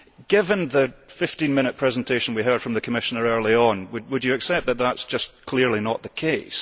Given the 15 minute presentation we heard from the Commissioner earlier on, would you accept that that is just clearly not the case